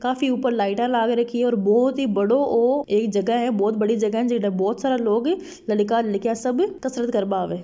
ऊपर लाईट लगेड़ी है और बहुत ही बड़ो एक जगह है। बहुत बड़ी जगह है। बहुत सारा लोग लडकिया लड़का सभी कसरत करवा आवे।